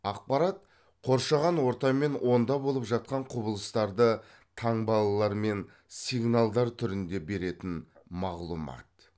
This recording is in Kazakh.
ақпарат қоршаған орта мен онда болып жатқан құбылыстарды таңбалар мен сигналдар түрінде беретің мағлұмат